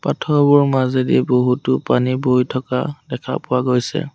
পাথৰবোৰ মাজেদি বহুতো পানী বৈ থকা দেখা পোৱা গৈছে।